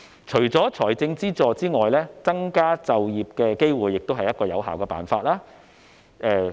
除了財政資助外，增加就業機會亦是有效的辦法。